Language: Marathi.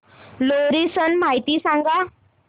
लोहरी सण माहिती सांगा